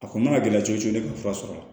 A kɔni mana gɛlɛya cogo cogo ne ka fura sɔrɔ